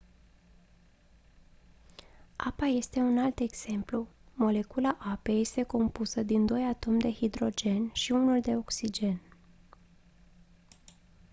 apa este un alt exemplu molecula apei este compusă din doi atomi de hidrogen și unul de oxigen